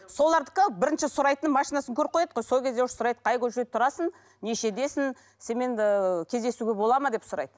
солардікі бірінші сұрайтыны машинасын көріп қояды ғой сол кезде уже сұрайды қай көшеде тұрасың нешедесің сенімен ыыы кездесуге болады ма деп сұрайды